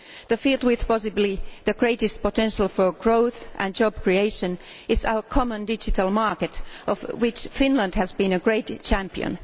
The field with possibly the greatest potential for growth and job creation is our common digital market, of which Finland has been a great champion.